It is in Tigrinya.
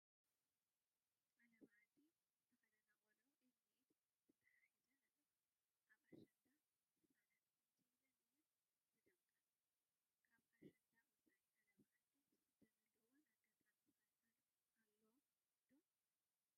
ዓለባ ዓዲ ዝተኸደና ቆልዑ ኢድ ንኢድ ተተሓሒዘን ኣለዋ፡፡ ኣብ ኣሸንዳ ህፃናት ከምዚ ኢለን እየን ዝደምቃ፡፡ ካብ ኣሸንዳ ወፃኢ ዓለባ ዓዲ ዝኽደናሉ ካልእ ኣጋጣሚ ኸ ኣሎ ዶ?